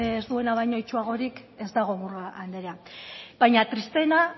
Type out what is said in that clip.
ez duena baina itsuagorik ez dago murga andrea baina tristeena